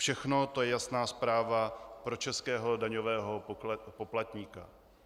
Všechno to je jasná zpráva pro českého daňového poplatníka.